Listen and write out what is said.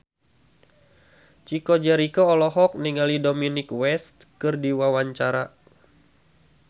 Chico Jericho olohok ningali Dominic West keur diwawancara